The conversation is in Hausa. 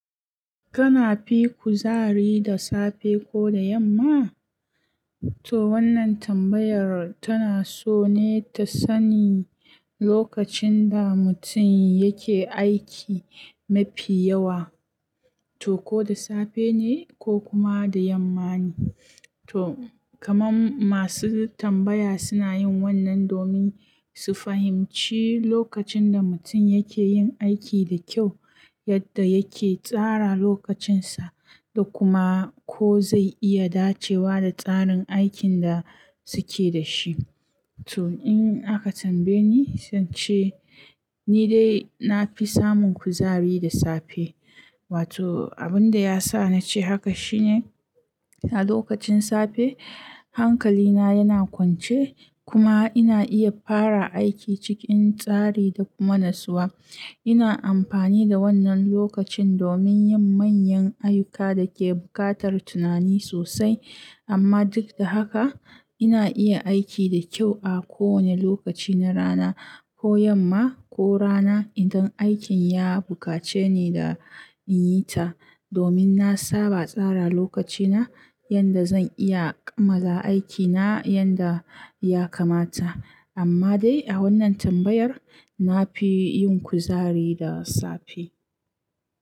Kana fi kuzari da safe ko da yamma? To wannan tambayar tana so ne ta sani lokacin da mutum yake aiki mafi yawa, to ko da safe ne ko kuma da yamma ne. To kamar masu tambaya suna yin wannan domin su fahimci lokacin da mutum yake yin aiki da kyau, yadda yake tsara lokacinsa, da kuma ko zai iya dacewa da tsarin aikin da suke da shi. To in aka tambaye ni, zance ni dai na fi samun kuzari da safe. Wato abin da ya sa na ce haka shine a lokacin safe hankalina yana kwance kuma ina iya fara aiki cikin tsari da kuma natsuwa. Ina amfani da wannan lokacin domin yin manyan ayyuka da ke buƙatar tunani sosai. Amma duk da haka ina iya aiki da kyau a kowane lokaci na rana, ko yamma ko rana idan aikin ya buƙace ni da in yi ta. Domin na saba tsara lokacina yanda zan iya kammala aikina yanda ya kamata. Amma dai a wannan tambayar na fi yin kuzari da safe.